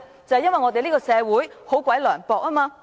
就是因為我們這個社會十分涼薄。